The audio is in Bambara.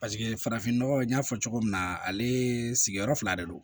Paseke farafinnɔgɔ n y'a fɔ cogo min na ale sigiyɔrɔ fila de don